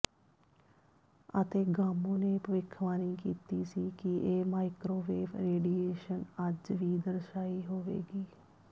ਅਤੇ ਗਾਮੋ ਨੇ ਭਵਿੱਖਬਾਣੀ ਕੀਤੀ ਸੀ ਕਿ ਇਹ ਮਾਈਕ੍ਰੋਵੇਵ ਰੇਡੀਏਸ਼ਨ ਅੱਜ ਵੀ ਦਰਸਾਈ ਹੋਵੇਗੀ